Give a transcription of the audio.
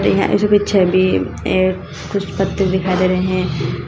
यहां इसकी छवि ए कुछ पत्ते दिखाई दे रहे हैं।